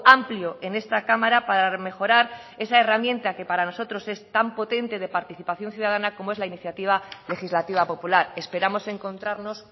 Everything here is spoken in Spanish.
amplio en esta cámara para mejorar esa herramienta que para nosotros es tan potente de participación ciudadana como es la iniciativa legislativa popular esperamos encontrarnos